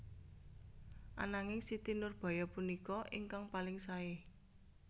Ananging Siti Nurbaya punika ingkang paling saé